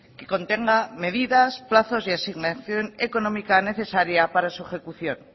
que contenga medidas plazos y asignación económica necesaria para su ejecución